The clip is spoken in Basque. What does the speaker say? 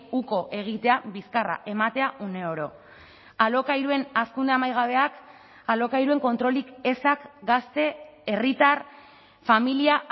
uko egitea bizkarra ematea uneoro alokairuen hazkunde amaigabeak alokairuen kontrolik ezak gazte herritar familia